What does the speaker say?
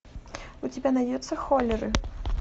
у тебя найдется холлеры